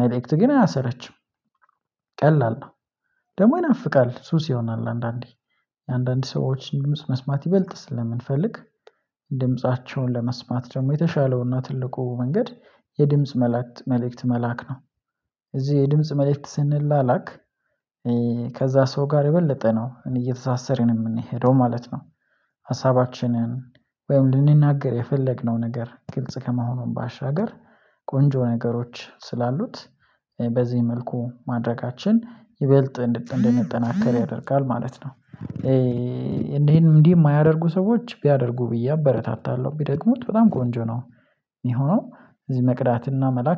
መልእክት ግን አያሰለችም። ቀላል ነው። ደግሞ ይናፍቃል ሱስ ይሆናል አንዳንዴ አንዳንድ ሰዎችን ድምጽ መስማት ይበልጥ ስለምንፈልግ ድምፃቸውን ለመስማት ደግሞ የተሻለውና ትልቁ መንገድ የድምጽ መልእክት መላክ ነው። እዚህ የድምጽ መልእክት ስንላላክ ከዛ ሰው ጋር የበለጠ ነው እየተሳሰረን የምንሄደው ማለት ነው። ሀሳባችንን ወይም ልንናገር የፈለግነው ነገር ግልጽ ከመሆኑም ባሻገር ቆንጆ ነገሮች ስላሉት በዚህ መልኩ ማድረጋችን ይበልጥ እንደንጠናከር ያደርጋል ማለት ነው። እንዲህ እንዲህ የማያደርጉ ሰዎች ቢያደርጉ ብዬ አበረታታለሁ ቢደግሙት በጣም ቆንጆ ነው። የሚሆነው እዚህ መቅዳትና መላክ